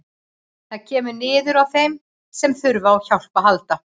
Það kemur niður á þeim sem þurfa á hjálp að halda.